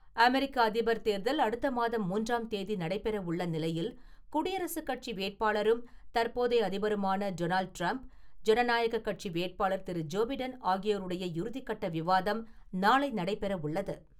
America அதிபர் தேர்தல் அடுத்த மாதம் மூன்றாம் தேதி நடைபெறவுள்ள நிலையில் குடியரசுக் கட்சி வேட்பாளரும் தற்போதைய அதிபருமான டொனால்ட் டிரம்ப், ஜனநாயக கட்சி வேட்பாளர் திரு. ஜோ பிடன் ஆகியோருடைய இறுதி கட்ட விவாதம் நாளை நடைபெறவுள்ளது.